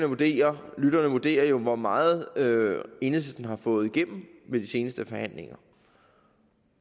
vurdere lytterne må vurdere hvor meget enhedslisten har fået igennem ved de seneste forhandlinger